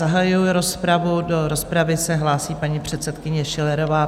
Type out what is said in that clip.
Zahajuji rozpravu, do rozpravy se hlásí paní předsedkyně Schillerová.